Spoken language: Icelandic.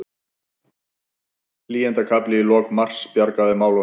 Hlýindakafli í lok mars bjargaði málunum